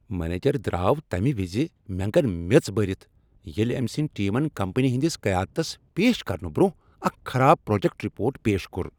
Manager درٛاو تمہ وزِ مینٛگن میٔژ بٔرتھ ییٚلہ أمۍ سٕنٛدۍ ٹیمن کمپنی ہندس قیادتس پیش کرنہٕ برٛۄنٛہہ اکھ خراب پراجیکٹ رپورٹ پیش کوٚر۔